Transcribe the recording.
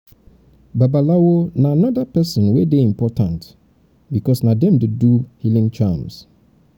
babalawo na anoda person wey dey important because na dem dey do the healing charms